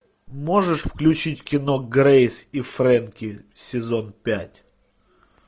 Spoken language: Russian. можешь включить кино грейс и фрэнки сезон пять